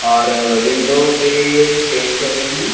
और विंडो पे पेंट कर रही है।